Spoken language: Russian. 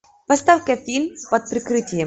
поставь ка фильм под прикрытием